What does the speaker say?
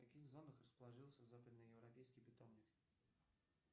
в каких зонах расположился западно европейский питомник